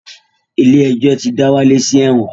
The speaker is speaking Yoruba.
Ilé-ẹjọ̀ ti dá Wálé sí ẹ̀wọ̀n